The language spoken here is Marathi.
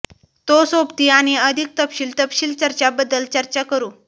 तो सोबती आणि अधिक तपशील तपशील चर्चा बद्दल चर्चा करू